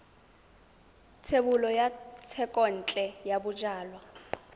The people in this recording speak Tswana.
thebolo ya thekontle ya bojalwa